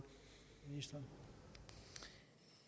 jo